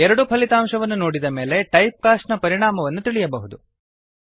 ಎರಡೂ ಫಲಿತಾಂಶವನ್ನು ನೋಡಿದ ಮೇಲೆ ಟೈಪ್ ಕಾಸ್ಟ್ ನ ಪರಿಣಾಮವನ್ನು ತಿಳಿಯಬಹುದು